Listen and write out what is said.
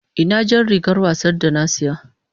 Ina jar rigar wasa da na saya?